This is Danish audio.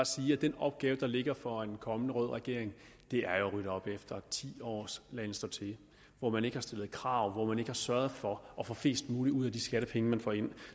sige at den opgave der ligger for en kommende rød regering er at rydde op efter ti års laden stå til hvor man ikke har stillet krav og hvor man ikke har sørget for at få mest muligt ud af de skattepenge man får ind